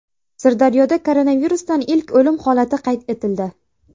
Sirdaryoda koronavirusdan ilk o‘lim holati qayd etildi.